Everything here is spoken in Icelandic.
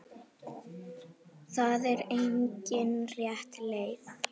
Það er engin rétt leið.